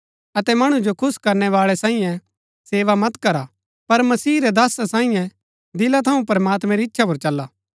अतै मणु जो खुश करनै बाळै सांईये सेवा मत करा पर मसीह रै दासा सांईये दिला थऊँ प्रमात्मैं री इच्छा पुर चला